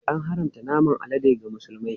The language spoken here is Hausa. An haramta naman alade ga Musulmai.